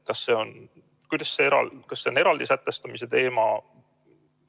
Kas see on eraldi sätestamise teema?